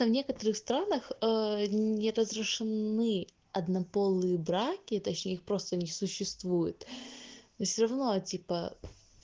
в некоторых странах ээ не разрешены однополые браки точнее их просто не существует все равно типа